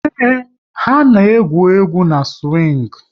Ee, ha na-egwu egwu n'siwing